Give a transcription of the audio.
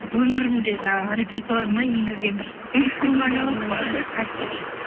өмірімде жаңағы репертуарыма енгізген бір мхм